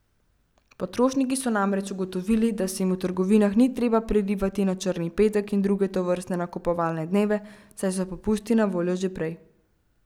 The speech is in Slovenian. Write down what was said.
Potrošniki so namreč ugotovili, da se jim v trgovinah ni treba prerivati na črni petek in druge tovrstne nakupovalne dneve, saj so popusti na voljo že prej.